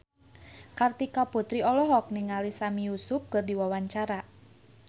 Kartika Putri olohok ningali Sami Yusuf keur diwawancara